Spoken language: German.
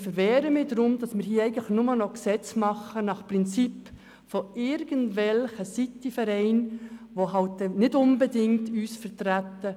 Ich wehre mich dagegen, dass wir hier nur noch Gesetze nach dem Gusto irgendwelcher Stadtvereine machen, die uns nicht unbedingt vertreten.